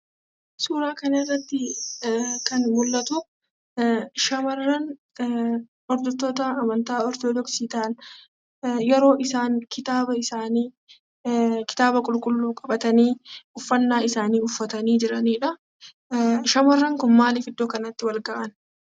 Suuraa kanarratti kan mul'atuu shamarran hordoftoota amantaa Ortodoksi ta'anii yeroo isaan kitaaba isaanii kitaaba qulqulluu qabatanii uffannaa isaanii uffatanii jiranidhaa. Shamarran kun maaliif bakka kanatti wal gahan